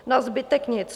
Na zbytek nic.